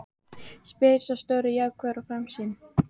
spyr sá stóri jákvæður og framsýnn.